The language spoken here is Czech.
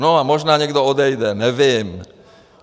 No a možná někdo odejde, nevím.